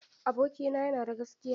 Abokina ya na da gaskiya.